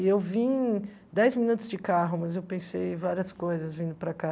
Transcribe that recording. E eu vim dez minutos de carro, mas eu pensei várias coisas vindo para cá.